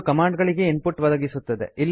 ಇದು ಕಮಾಂಡ್ ಗಳಿಗೆ input ಒದಗಿಸುತ್ತವೆ